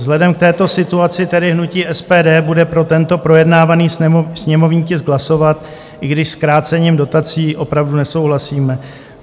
Vzhledem k této situaci tedy hnutí SPD bude pro tento projednávaný sněmovní tisk hlasovat, i když s krácením dotací opravdu nesouhlasíme.